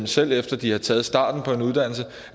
selv efter de har taget starten på en uddannelse